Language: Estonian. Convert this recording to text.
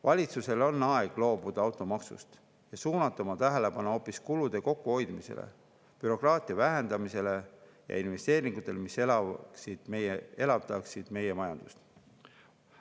Valitsusel on aeg loobuda automaksust ja suunata oma tähelepanu hoopis kulude kokkuhoidmisele, bürokraatia vähendamisele ja investeeringutele, mis elavdaksid meie majandust.